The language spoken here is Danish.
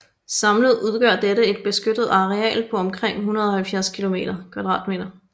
Samlet udgør dette et beskyttet areal på omkring 170 km²